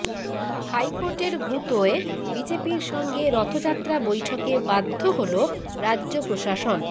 হাইকোর্টের গুঁতোয় বিজেপির সঙ্গে রথযাত্রা বৈঠকে বাধ্য হল রাজ্য প্রশাসন